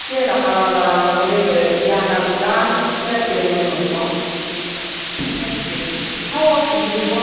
Madam President, how often do we wonder about the side effects of medicines we are taking?